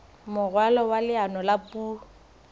moralo wa leano la puo